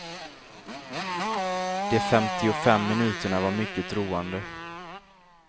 De femtiofem minuterna var mycket roande.